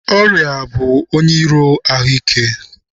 Ọrịa bụ onye iro ahụ ike.